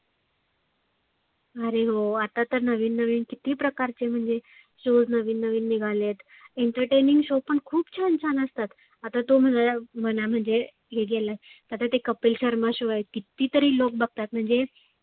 आरे हो आता तर नविन नविन किती प्रकारचे म्हणजे shows निघालेत Entertaining shows पण खुप छान छान असतात. आता तो म्हण म्हणजे हे गेला. आता तो कपिल शर्मा show आहे किती तरी लोक बघतात. म्हणजे